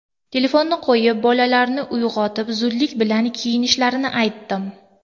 Telefonni qo‘yib, bolalarni uyg‘otib, zudlik bilan kiyinishlarini aytdim.